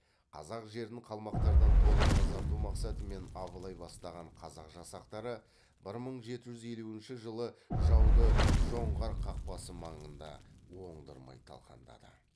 қазақ жерін қалмақтардан толық тазарту мақсатымен абылай бастаған қазақ жасақтары бір мың жеті жүз елуінші жылы жауды жоңғар қақпасы маңында оңдырмай талқандады